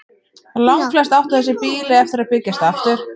Langflest áttu þessi býli eftir að byggjast aftur.